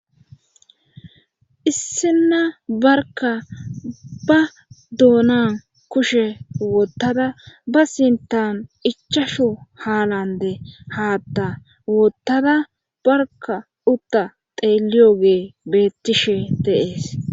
Issina barka ba doonan kushe woottada ba sintan ichashu haalande haatta woottada barka utta xeeliyo ge bettishe deees.